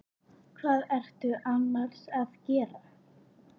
Hvað ertu annars að gera?